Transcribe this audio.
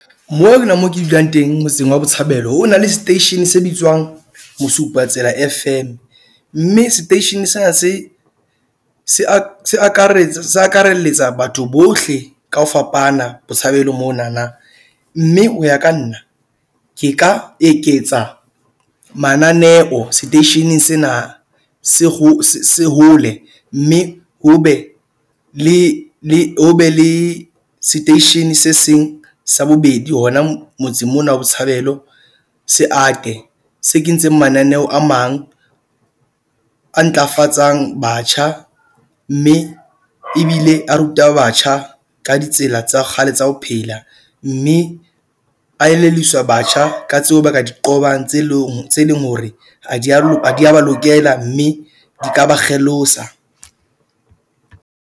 Moo ke nna mo ke dulang teng motseng wa Botshabelo ho na le seteishene se bitswang Mosupatsela F_M. Mme seteishene sena se, se se akarelletsa batho bohle ka ho fapana Botshabelo mona na. Mme ho ya ka nna ke ka eketsa mananeo seteisheneng sena se ho se hole. Mme ho be le le ho be le seteishene se seng sa bobedi hona motseng mona wa Botshabelo se ate. Se kentseng mananeo a mang a ntlafatsang batjha mme ebile a ruta batjha ka ditsela tsa kgale tsa ho phela. Mme a elelliswa batjha ka tseo ba ka diqobang tse leng tse leng hore ha di a ba lokela, mme di ka ba kgelosa.